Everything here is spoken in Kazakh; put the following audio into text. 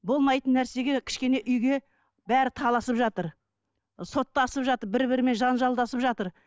болмайтын нәрсеге кішкене үйге бәрі таласып жатыр соттасып жатыр бір бірімен жанжалдасып жатыр